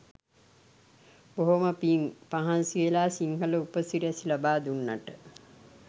බොහොම පිං මහන්සිවෙලා සිංහල උප සිරැසි ලබා දුන්නට.